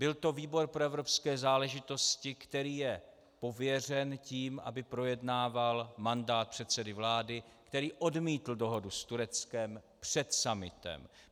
Byl to výbor pro evropské záležitosti, který je pověřen tím, aby projednával mandát předsedy vlády, který odmítl dohodu s Tureckem před summitem.